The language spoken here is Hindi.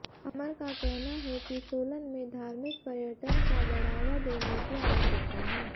अमन का कहना है कि सोलन में धार्मिक पर्यटन का बढ़ावा देने की आवश्यकता है